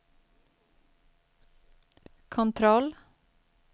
kontroll